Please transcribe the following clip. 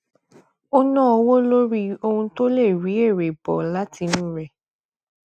ó nà owó lórí ohun tó lè rí èrè bọ látinú rẹ